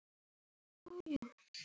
Ræður ekki við tárin.